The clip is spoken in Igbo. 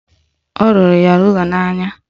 Ọ rụrụ ya rula n'anya